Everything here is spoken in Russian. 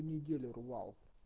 неделю рвал